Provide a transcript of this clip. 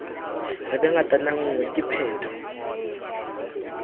re be ngatanngwe ke pheto